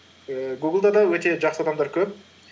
ііі гуглда да өте жақсы адамдар көп